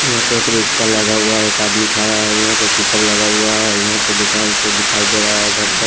यहां पे एक रिक्शा लगा हुआ एक आदमी खड़ा है यहां पे पिकअप लगा हुआ है यहां पे दुकान सब दिखाई दे रहा है घर स--